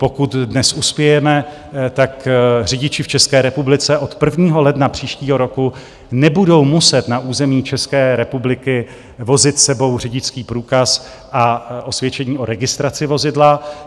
Pokud dnes uspějeme, tak řidiči v České republice od 1. ledna příštího roku nebudou muset na území České republiky vozit s sebou řidičský průkaz a osvědčení o registraci vozidla.